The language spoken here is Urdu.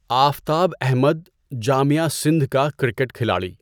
آفتاب احمد، جامعہ سندھ کا کرکٹ کھلاڑی